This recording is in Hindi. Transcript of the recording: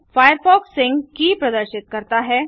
फायरफॉक्स सिंक की प्रदर्शित करता है